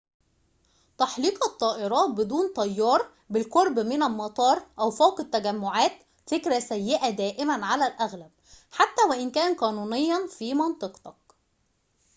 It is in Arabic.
تحليق الطائرات بدون طيار بالقرب من المطار أو فوق التجمعات فكرة سيئة دائماً على الأغلب حتى وإن كان قانونياً في منطقتك